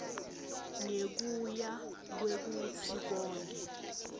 ngekuya kwekutsi yonkhe